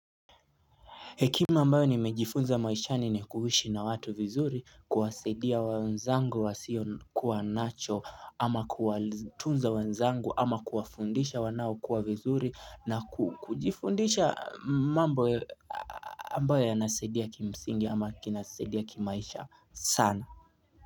Hekima ambayo ni mejifunza maishani ni kuishi na watu vizuri kuwasaidia wenzangu wa sio kuwa nacho ama kuwatunza wanzangu ama kuwafundisha wanao kuwa vizuri na kujifundisha mambo ambayo ambayo yanasaidia kimsingi ama kinasaidia kimaisha sana.